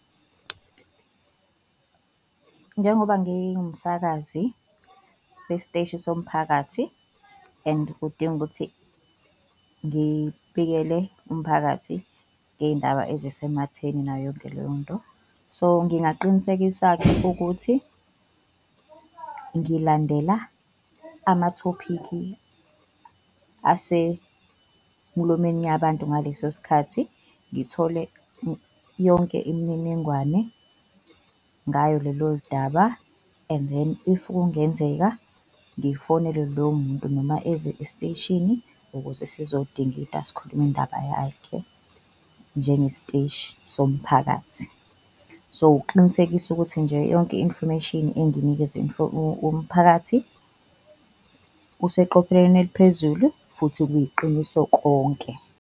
Njengoba ngingumsakazi wesiteshi somphakathi and kudinga ukuthi ngibikele umphakathi ngey'ndaba ezisematheni nayo yonke leyo nto. So ngingaqinisekisa-ke ukuthi ngilandela amathophikhi asemulomeni yabantu ngaleso sikhathi ngithole yonke imininingwane ngayo lelo daba and then if kungenzeka ngifonele lowo muntu noma eze esiteshini, ukuze sizodingida sikhulume indaba yakhe njengesiteshi somphakathi. So, uqinisekisa ukuthi nje yonke i-information enginikeze umphakathi useqopheleni eliphezulu futhi kuyiqiniso konke.